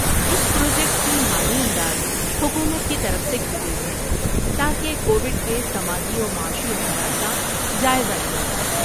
اس project کی مالی امداد حکومت کی طرف سے کی گئی ہے تاکہ کوویڈ کے سماجی و معاشی اثرات کا جائزہ لیا جائے۔